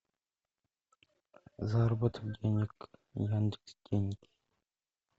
заработок денег яндекс деньги